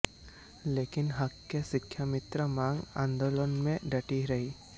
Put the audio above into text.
लेकिन हक के शिक्षामित्र मां आंदोलन में डटी रहीं